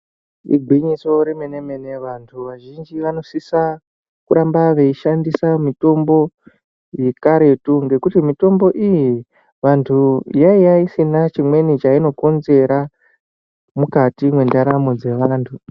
Igwinyiso remene-mene, vantu vazhinji, vanosisa kuramba veishandisa mitombo yekaretu ,ngekuti mitombo iyi, vantu yaiya isina chimweni chainokonzera ,mukati mwendaramo dzevantu.